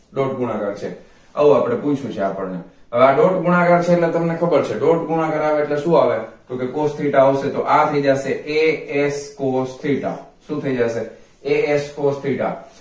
dot ગુણાકાર છે આવું આપણે પૂછ્યું છે આપણને હવે આ dot ગુણાકાર છે એટલે તમને ખબર છે dot ગુણાકાર આવે એટલે શુ આવે તો કે cos theta આવશે તો કે આ થઈ જસે as cos theta શું થઈ જસે as cos theta